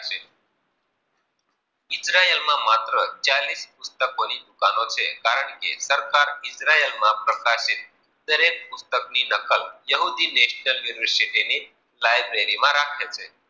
Cell માં માત્ર ચાલીશ પુસ્તકોની દુકાન છે. કારણ કે સરકાર ઈજરાયલ માં પ્રકાશિત દરેક પુસ્તકોની દખલ સૌથી રાખે છે.